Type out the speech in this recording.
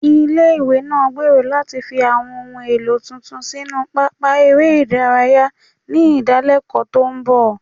Ilé-ìwé náà ń gbèrò láti fi àwọn ohun èlò tuntun sínú pápá eré ìdárayá ní ìdálẹ́kọ̀ọ́ tó ń bọ̀